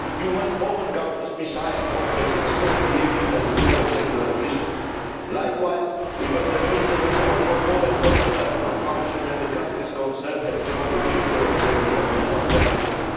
You must overcome this Messiah complex and stop behaving as a global secular priesthood. Likewise, we must admit that the more for more approach does not function when the countries concerned have geopolitical or geo economic alternatives.